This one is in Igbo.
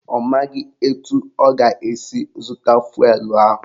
Ọ maghị etu ọ ga-esi zụta fụelụ ahụ.